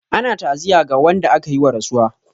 Ana ta'aziyya ga wanda aka yi wa rasuwa.